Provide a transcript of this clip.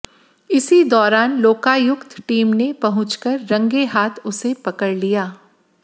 इसी दौरान लोकायुक्त टीम ने पहुंचकर रंगेहाथ उसे पकड़ लिया